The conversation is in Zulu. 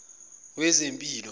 wezempilo